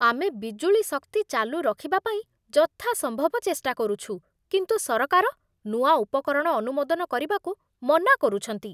ଆମେ ବିଜୁଳି ଶକ୍ତି ଚାଲୁ ରଖିବା ପାଇଁ ଯଥାସମ୍ଭବ ଚେଷ୍ଟା କରୁଛୁ, କିନ୍ତୁ ସରକାର ନୂଆ ଉପକରଣ ଅନୁମୋଦନ କରିବାକୁ ମନା କରୁଛନ୍ତି।